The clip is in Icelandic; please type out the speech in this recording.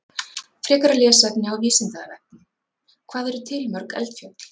Frekara lesefni á Vísindavefnum: Hvað eru til mörg eldfjöll?